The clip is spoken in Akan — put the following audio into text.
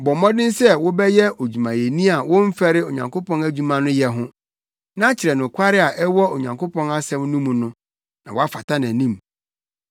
Bɔ mmɔden sɛ wobɛyɛ odwumayɛni a womfɛre Onyankopɔn adwuma no yɛ ho, na kyerɛ nokware a ɛwɔ Onyankopɔn asɛm no mu no, na woafata nʼanim.